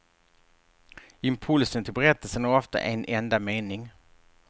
Impulsen till berättelsen är ofta en enda mening.